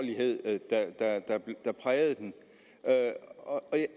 der prægede den og